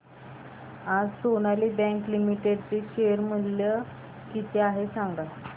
आज Sonali bank limited चे share मूल्य किती आहे सांगा